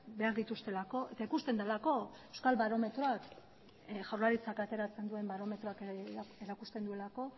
behar dituztelako eta ikusten delako euskal barometroak jaurlaritzak ateratzen duen barometroak erakusten duelako